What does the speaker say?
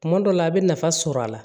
Tuma dɔ la a bɛ nafa sɔrɔ a la